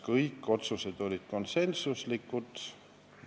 Kõik otsused olid konsensuslikud.